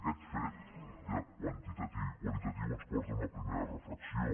aquest fet ja quantitatiu i qualitatiu ens porta a una primera reflexió